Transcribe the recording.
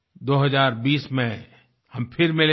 2020 में हम फिर मिलेंगे